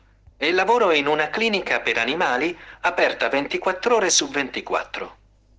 клиника